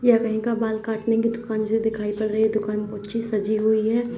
ये कहीं का बाल काटने की दुकान जैसे दिखाई पड़ रही है दुकान बहौत अच्छी सजी हुई है।